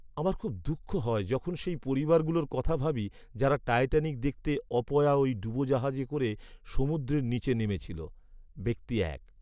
আমার খুব দুঃখ হয় যখন সেই পরিবারগুলোর কথা ভাবি যারা টাইটানিক দেখতে অপয়া ওই ডুবোজাহাজে করে সমুদ্রের নিচে নেমেছিল। ব্যক্তি এক